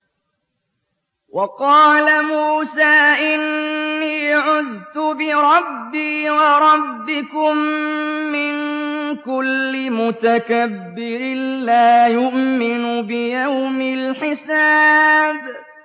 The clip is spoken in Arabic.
وَقَالَ مُوسَىٰ إِنِّي عُذْتُ بِرَبِّي وَرَبِّكُم مِّن كُلِّ مُتَكَبِّرٍ لَّا يُؤْمِنُ بِيَوْمِ الْحِسَابِ